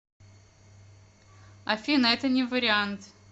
афина это не вариант